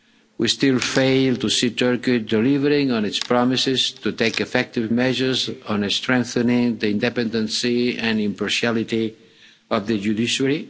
We still fail to see Turkey delivering on its promises to take effective measures on a strengthening the independence and impartiality of the judiciary.